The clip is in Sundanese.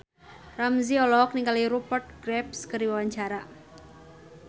Ramzy olohok ningali Rupert Graves keur diwawancara